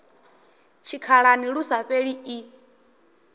tshikhalani lu sa fheli i